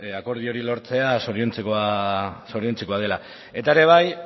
akordio hori lortzea zoriontzekoa dela eta ere bai